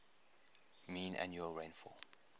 mean annual rainfall